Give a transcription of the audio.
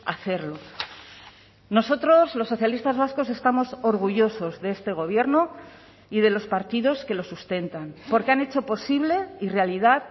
hacerlo nosotros los socialistas vascos estamos orgullosos de este gobierno y de los partidos que lo sustentan porque han hecho posible y realidad